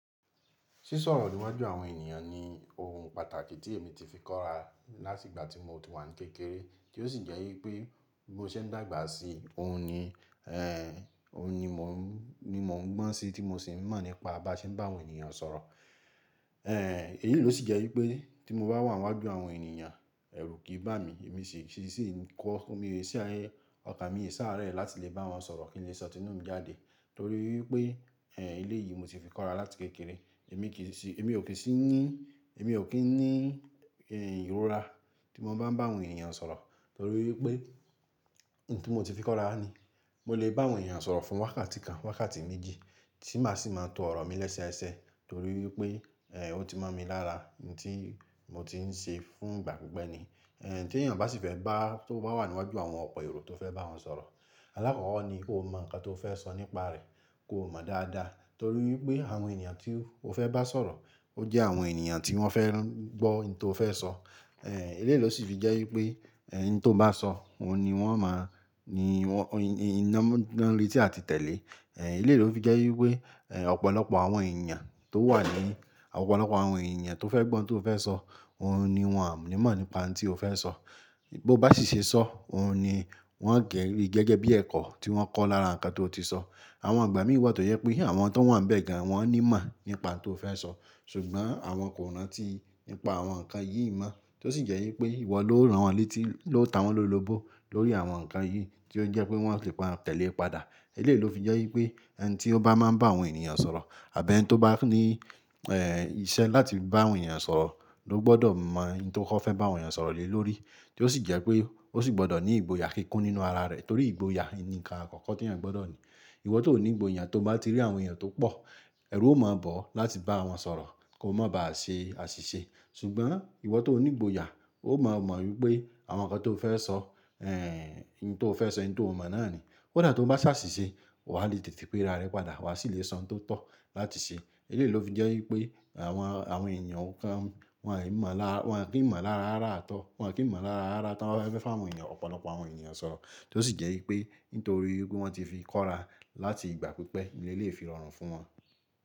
Sísọ ọ̀rọ̀ níwájú àwọn ènìyàn ni ohun pàtàkì tí èmi ti fi kóra láti ìgbà tí mo ti wà ní kékeré, tí ó sì jẹ́ wípé bí mo ṣe ń dàgbà sí òun ni, ẹ́ òun ni mò ń, ni mò ń gbọ́n sí tí mo sì ń mọ̀ nípa báṣe bá àwọn ènìyàn sọ̀rọ̀. Ẹ̀, èyí ló sì jẹ́ wípé tí mo bá wà níwájú àwọn ènìyàn ẹrú kì í bá mi. Èmi sì sì ń kọ́, òmi èsì ayé, ọ̀kà mi è saáré láti lè bá wọn sọ̀rọ̀ kí n lè sọ tinú mi jáde. Nítorí wípé, ẹ́ eléyìí mo ti fi kóra láti kékeré. Èmi kì í sì, èmi ò kí ń sì ní, èmi ò kí ń ní ẹ́ ìrora tí mo bá ń bá àwọn ènìyàn sọ̀rọ̀ nítorí wípé ohun tí mo ti fi kóra ni. Mo lè bá àwọn ènìyàn sọ̀rọ̀ fún wákàtí kan, wákàtí méjì tí màá ṣì máa tó ọ̀rọ̀ mi léṣe ẹsẹ ẹsẹ nítorí wípé, ẹ́ ó ti mọ̀ mi lára ohun tí mo ti ń ṣe fún ìgbà pípẹ́ ni. Ẹ̀ tí èeyàn bá sì fẹ́ bá, tó bá wà níwájú àwọn ọ̀pọ̀ èrò tó fẹ́ bá wọn sọ̀rọ̀, alákọ̀kọ́ ni kó mọ̀ nǹkan tó fẹ́ sọ nípa rẹ̀, kó mọ̀ dáadáa. Nítorí wípé àwọn ènìyàn tí o fẹ́ bá sọ̀rọ̀, o jẹ́ àwọn ènìyàn tí wọ́n fẹ́ ràn gbó ohun tí o fẹ́ sọ. Ẹ̀, eléyìí ló sì fi jẹ́ wípé ẹ́ ohun tí o bá sọ, òun ni wọ́n máa, ni wọ́n, iná mú, hin ná retí a ti tẹ̀lé. Ẹ̀ eléyìí ló fi jẹ́ wípé, ẹ́ ọ̀pọ̀lọpọ̀ àwọn ènìyàn tó wà ní, àwọn ọ̀pọ̀lọpọ̀ àwọn ènìyàn tó fẹ́ gbọ́ ohun tí o fẹ́ sọ, òun ni wọ́n o ni imọ̀ nípa ohun tí o fẹ́ sọ. Bí ó bá sì ṣe sọ́, òun ni wọ́n á gẹrí gẹ́gẹ́ bí ẹ̀kọ́ tí wọ́n kọ́ lára nǹkan tó ti sọ. Àwọn igbà mí wà tó jẹ pé àwọn tó wà níbẹ̀ gan wọ́n ní ìmọ̀ nípa ohun tí o fẹ́ sọ. Ṣùgbọ́n àwọn kò ranti nípa àwọn nǹkan yìí mọ́ tó sì jẹ́ wípé ìwọ ló rán wọn létí, ló ta wọ́n ló lobo lórí àwọn nǹkan yìí tí ó jẹ́ pé wọn ò lè pa tẹ̀le padà. Eléyìí ló fi jẹ́ wípé ẹ́ ẹni tí ó bá máa ń bá àwọn ènìyàn sọ̀rọ̀ àbí ẹni tí ó bá ní ẹ̀ ìṣe láti bá àwọn ènìyàn sọ̀rọ̀ ló gbọdọ̀ mọ̀ ohun tí ó kọ́ fẹ́ bá àwọn ènìyàn sọ̀rọ̀ lé lórí. Tí ó sì jẹ́ pé ó sì gbọdọ̀ ní ìgboyà kíkún nínú ara rẹ̀ torí ìgboyà ni nǹkan àkọ́kọ́ tí ẹ́eyan gbọdọ̀ ní. Ìwọ tó ò ní ìgboyà tó bá ti rí àwọn ènìyàn tó pọ̀, ẹrú ó máa ba ọ̀ láti bá wọn sọ̀rọ̀ kó má ba à ṣe àṣìṣe. Ṣùgbọ́n ìwọ tó ní ìgboyà ó máa mọ̀ wípé àwọn nǹkan tí o fẹ́ sọ, ẹ́ ohun tí o fẹ́ sọ, ohun tí o mọ̀ náà ni. Kódà tó bá ṣàṣìṣe wà lè tètè pe ara rẹ padà, wà sì lè sọ ohun tó tọ́ láti ṣe. Ilé yìí ló fi jẹ́ wípé àwọn, àwọn ènìyàn kan wọn à í mọ̀ lára, wọn à kí ń mọ̀ lára ara tọ́, wọn à kí ń mọ̀ lára ara tí wọ́n bá fẹ́ fún àwọn ènìyàn, ọ̀pọ̀lọpọ.